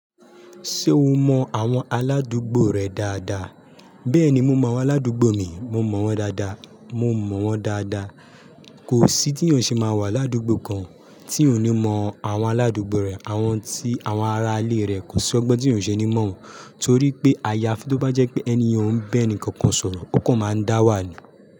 Ṣé o mọ àwọn aládùúgbò rẹ dáadáa? Bẹ́ẹ̀ni, mo mọ àwọn aládùúgbò mi, mo mọ̀ wọ́n dáadáa. Mo mọ̀ wọ́n dáadáa. Kò sí tí eeyàn ṣe máa wà l'ádúgbò kan tí òní mọ àwọn aládùúgbò rẹ̀, àwọn tí àwọn ará ilé rẹ kò sí ọgbọ́n tí eeyàn oo ṣe ni mọ̀ wọ́n. Torí pé ayafi tó bá jẹ́ pé ẹniyen oo ba eni kankan sọ̀rọ̀, ó kàn máa ń dá wà ní.